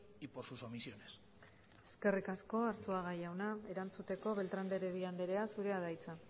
y por sus omisiones eskerrik asko arzuaga jauna erantzuteko beltrán de heredia andrea zurea da hitza